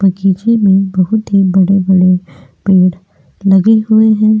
बगीचे मे बहुत ही बड़े बड़े पेड़ लगे हुए है।